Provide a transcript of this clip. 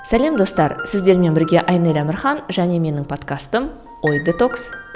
сәлем достар сіздермен бірге айнель әмірхан және менің подкастым ой детокс